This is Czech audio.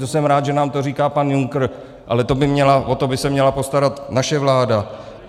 To jsem rád, že nám to říká pan Juncker, ale o to by se měla postarat naše vláda.